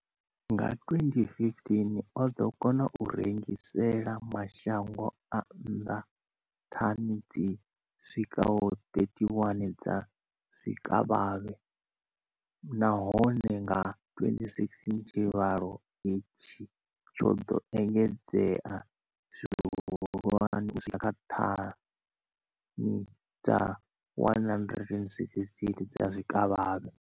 Nga 2015, o ḓo kona u rengisela mashango a nnḓa thani dzi swikaho 31 dza zwikavhavhe, nahone nga 2016 tshivhalo itshi tsho ḓo engedzea zwihulwane u swika kha thani dza 168 dza zwikavhavhe.